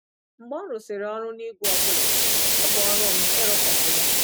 Mgbe ọ rụsịrị ọrụ n’ígwè ọ bụla, ọ bụ ọrụ m ịrụtọpụ ya.